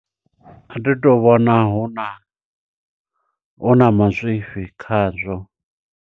A thi to vhona huna, huna mazwifhi khazwo.